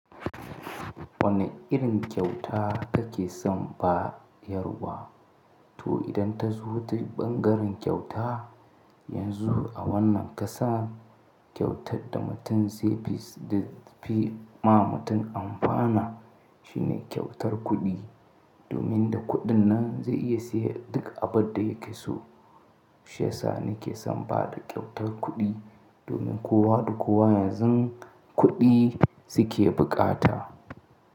Wane irin kyauta kake son bayarwa? To idan ta zo ta ɓangaren kyauta, yanzu a wannan ƙasa kyautar da mutum dai fi ma mutum amfana shine kyautar kuɗi. Domin da kuɗin nan zai iya siya duk abin da yake so. Shiyasa nake son bada kyautar kuɗi domin kowa da kowa yanzu kuɗi su ke bukata.